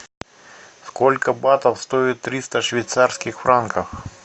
сколько батов стоит триста швейцарских франков